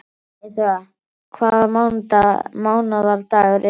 Eyþóra, hvaða mánaðardagur er í dag?